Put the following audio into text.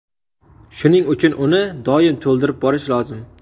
Shuning uchun uni doim to‘ldirib borish lozim.